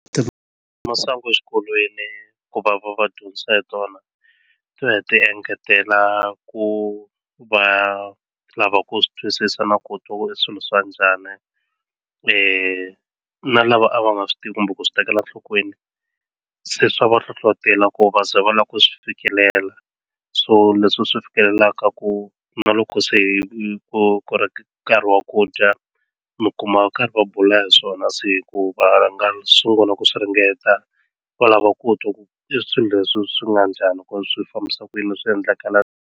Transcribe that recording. masangu exikolweni ku va va va dyondzisa hi tona ti va ti engetela ku va lava ku swi twisisa na ku twa ku i swilo swa njhani na lava a va nga swi tivi kumbe ku swi tekela enhlokweni se swa va hlohlotela ku va ze va lava ku swi fikelela so leswi swi fikelelaka ku na loko se hi ku ku ri ku nkarhi wa ku dya mi kuma va karhi va bula hi swona se va sungula ku swi ringeta va lava ku twa ku i swilo leswi swi nga njhani ku swi fambisa ku yini swi yendlakala.